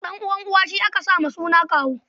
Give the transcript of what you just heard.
Ɗan'uwan uwa shi aka sa wa suna kawu.